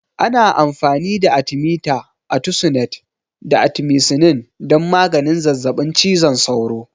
Ana amfani da Atimita, atisunet, da atimisinin don maganin zazzaɓin cizon sauro.